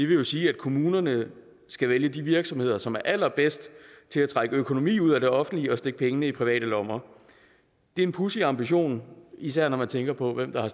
vil jo sige at kommunerne skal vælge de virksomheder som er allerbedst til at trække økonomi ud af det offentlige og stikke pengene i private lommer det er en pudsig ambition især når man tænker på hvem der har